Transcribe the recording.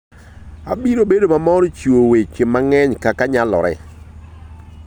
Abiro bedo mamor chiwo weche mang'eny kaka nyalore.